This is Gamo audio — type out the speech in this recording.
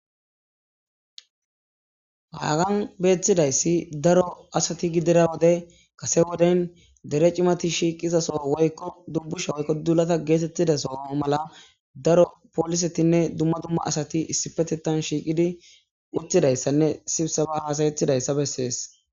haagan beettidayssi daro asati gidira wode kase woden dere cimati shiiqizaso woykko dubbusha woykko dulata geetettida soo mala daro poolisetinne dumma dumma asati issifetetan shiiqidi uttidayssanne sibsaba haasayethidayssa bessees